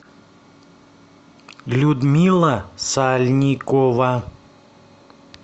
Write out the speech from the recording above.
людмила сальникова